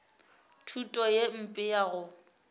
thuto ye mpe ya go